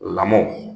Lamɔ